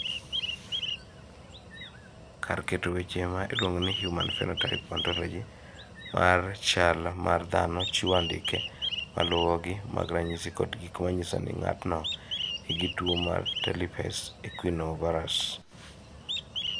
Kar keto weche ma iluongo ni Human Phenotype Ontology mar chal mar dhano chiwo andike ma luwogi mag ranyisi kod gik ma nyiso ni ng�ato nigi tuo mar Talipes equinovarus.